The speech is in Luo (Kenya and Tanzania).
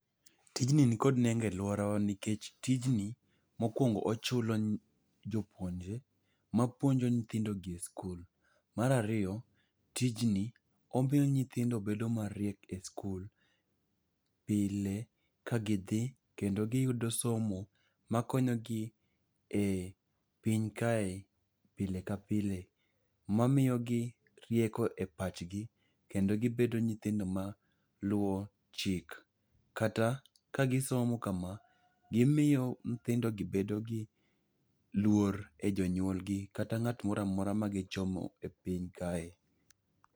Tijni nikod nego e lworawa nikech tijni mokwongo ochulo jopuonjre mapuonjo nyithindogi e skul. Mar ariyo, tijni, omiyo nyithindo bedo mariek e skul pile ka gidhi kendo giyudo somo makonyogi e piny kae pile ka pile, mamiyo gi rieko e pachgi kendo gibedo nyithindo maluwo chik. Kata kagisomo kama, gimiyo nyithindogi bedo gi luor e jonyuolgi kata ng'at moramora magichomo e pinya kae.